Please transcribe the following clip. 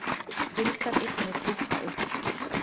Duldar eignir dúkka upp